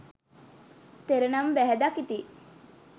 තෙර නම බැහැ දකිති.